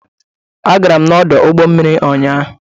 Agara m n'ọdụ ụgbọ mmiri ụnyaahụ.